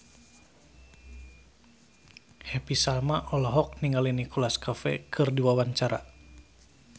Happy Salma olohok ningali Nicholas Cafe keur diwawancara